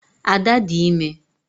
Ada dị ime